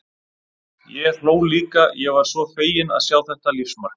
Ég hló líka, ég var svo fegin að sjá þetta lífsmark.